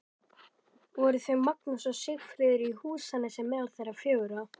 Voru þau Magnús og Sigríður í Húsanesi meðal þeirra fjögurra.